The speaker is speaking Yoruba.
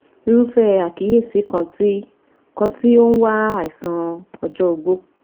Irúfẹ́ àkíyèsí kan tí kan tí ó ń wá àìsàn ọjọ́ ogbó